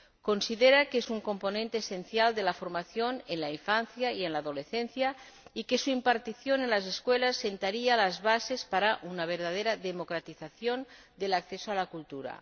considera que es un componente esencial de la formación en la infancia y en la adolescencia, y que su impartición en las escuelas sentaría las bases para una verdadera democratización del acceso a la cultura.